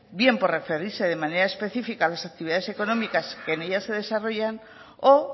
bien por referirse de manera específica a las actividades económicas que en ellas se desarrollan o